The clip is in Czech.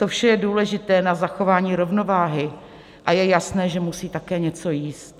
To vše je důležité pro zachování rovnováhy a je jasné, že musí také něco jíst.